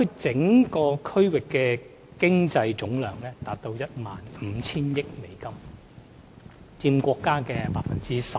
整個大灣區的經濟總量達 15,000 億美元，佔國家經濟總量的 12%。